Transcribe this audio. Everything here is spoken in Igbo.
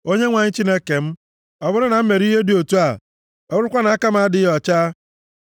O Onyenwe anyị Chineke m, ọ bụrụ na m mere ihe dị otu a; ọ bụrụkwa na aka m adịghị ọcha.